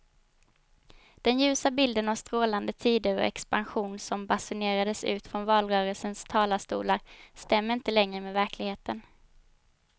Den ljusa bilden av strålande tider och expansion som basunerades ut från valrörelsens talarstolar stämmer inte längre med verkligheten.